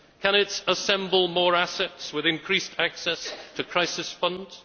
Can it assemble more assets with increased access to crisis funds?